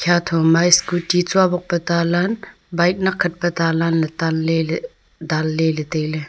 shatho ma scooty tsubok pe talan bike nakkhat pe talan le table le danle le taile.